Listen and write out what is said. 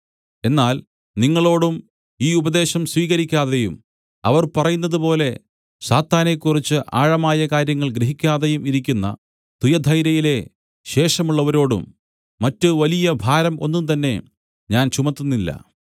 എന്നാൽ നിങ്ങളോടും ഈ ഉപദേശം സ്വീകരിക്കാതെയും അവർ പറയുന്നത് പോലെ സാത്താനെക്കുറിച്ച് ആഴമായ കാര്യങ്ങൾ ഗ്രഹിക്കാതെയും ഇരിക്കുന്ന തുയഥൈരയിലെ ശേഷമുള്ളവരോടും മറ്റ് വലിയ ഭാരം ഒന്നുംതന്നെ ഞാൻ ചുമത്തുന്നില്ല